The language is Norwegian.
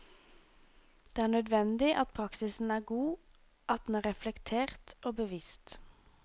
Det er nødvendig at praksisen er god, at den er reflektert og bevisst.